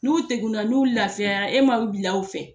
N'u degunna n'u lafiyara e m ma u bila u fɛ